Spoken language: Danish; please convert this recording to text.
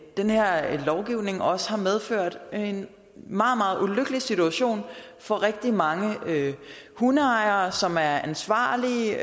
den her lovgivning også har medført en meget meget ulykkelig situation for rigtig mange hundeejere som er ansvarlige og